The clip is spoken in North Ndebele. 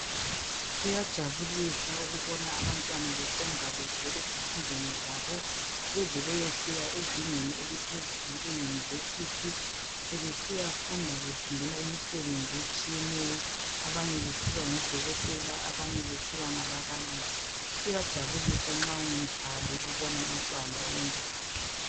Kuyajabulisa ukubona abantwana besenza kuhle ezifundweni zabo beze beyefika ezingeni eliphezulu leYunivesi sebesiya funda befundela imisebenzi etshiyeneyo abanye besiba ngodokotela abanye besiba ngababalisi. Kuyajabulisa nxa ungumzali ukubona umntwana oyenza kahle.